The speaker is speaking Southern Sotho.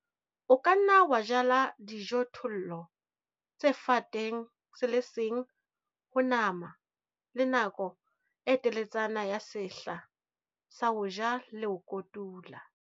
O ka nna wa jala dijothollo tse fateng se le seng ho nama le nako e teletsana ya sehla sa ho ja le ho kotula.